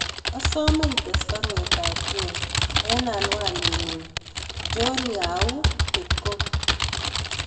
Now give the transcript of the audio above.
Asome ites baruet ab John en anwaninyun john yahoo dot com